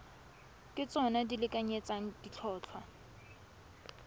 ke tsona di lekanyetsang ditlhotlhwa